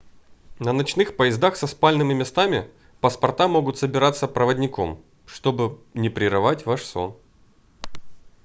на ночных поездах со спальными местами паспорта могут собираться проводником чтобы не прерывать ваш сон